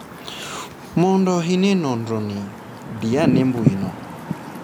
Mondo ine nonro ni, diane mbui no.